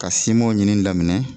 Ka simɔn ɲini daminɛ